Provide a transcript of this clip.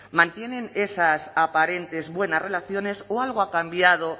mantienen esas aparentes buenas relaciones o algo ha cambiado